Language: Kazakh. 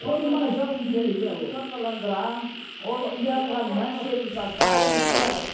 қойдың майы жақсы дүние иә ол сорпаландырамын ол ұялғанынан ішеді мысалы барлығын ішіп алады